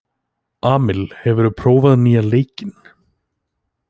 Amil, hefur þú prófað nýja leikinn?